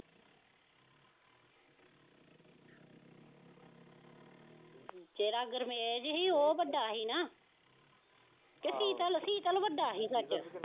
ਜਿਹੜਾ ਗੁਰਮੇਜ਼ ਹੀ ਉਹ ਵੱਡਾ ਹੀ ਨਾ ਕਿ ਸੀਤਲ, ਸੀਤਲ ਵੱਡਾ ਹੀ ਸੱਚ।